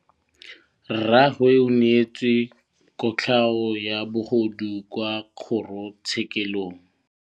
Rragwe o neetswe kotlhaô ya bogodu kwa kgoro tshêkêlông.